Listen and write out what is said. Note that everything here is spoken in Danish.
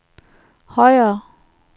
højere